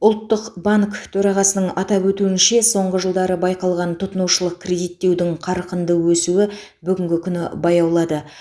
ұлттық банк төрағасының атап өтуінше соңғы жылдары байқалған тұтынушылық кредиттеудің қарқынды өсуі бүгінгі күні баяулады